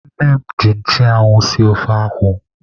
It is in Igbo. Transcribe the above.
Nne m ji nchụanwụ sie ofe akwụ.